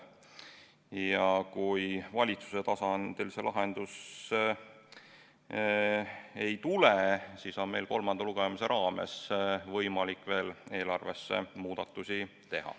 Ja kui valitsuse tasandil lahendust ei tule, siis on meil kolmanda lugemise raames võimalik eelarvesse veel muudatusi teha.